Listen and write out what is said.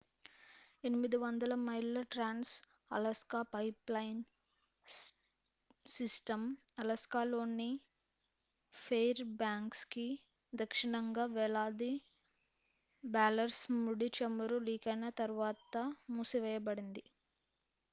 800 మైళ్ళ trans Alaska pipeline system అలాస్కాలోని Fairbanks కి దక్షిణంగా వేలాది బ్యారెల్స్ ముడి చమురు లీకైన తరువాత మూసివేయబడింది